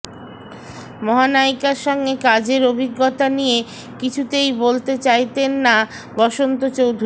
মহানায়িকার সঙ্গে কাজের অভিজ্ঞতা নিয়ে কিছুতেই বলতে চাইতেন না বসন্ত চৌধুরী